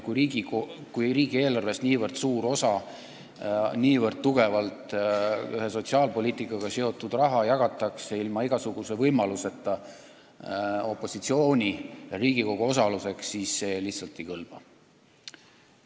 Kui riigieelarvest nii suur osa nii tugevalt ühe sotsiaalpoliitika valdkonnaga seotud raha jagatakse ilma igasuguse võimaluseta opositsioonil ja Riigikogul sõna sekka öelda, siis see lihtsalt ei kõlba.